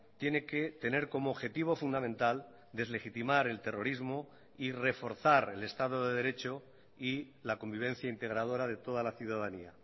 tiene que tener como objetivo fundamental deslegitimar el terrorismo y reforzar el estado de derecho y la convivencia integradora de toda la ciudadanía